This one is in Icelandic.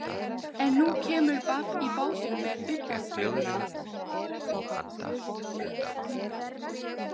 En nú kemur babb í bátinn með utanförina.